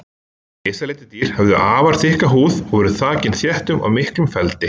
Risaletidýr höfðu afar þykka húð og voru þakin þéttum og miklum feldi.